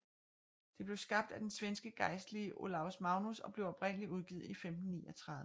Det blev skabt af den svenske gejstlige Olaus Magnus og blev oprindeligt udgivet i 1539